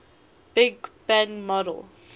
big bang model